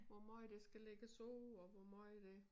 Hvor meget der skal lægges på og hvor meget der